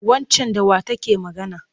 Waccan da wa take magana?